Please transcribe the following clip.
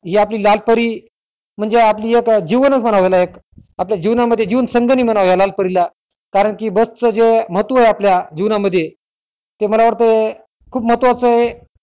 हि आपली लाल परी म्हणजे आपली एक जीव म्हणा एक जीवना मध्ये जीवन संगिनी म्हणा लाला परी ला कारण कि बस चे महत्व आहे आपल्या जीवनामधी तर मला वाटाय खूप महत्वाचेय